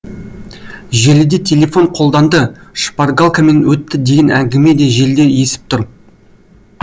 желіде телефон қолданды шпаргалкамен өтті деген әңгіме де желдей есіп тұр